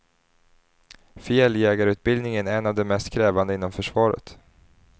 Fjälljägarutbildningen är en av de mest krävande inom försvaret.